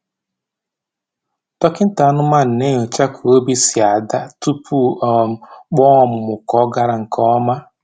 Dọkịta anụmanụ na-enyocha ka obi si ada tupu o um kpọọ ọmụmụ ka ọ gara nke ọma.